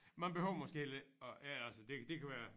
Man behøver måske heller ikke at ja altså det det kan være